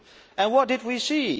And what did we see?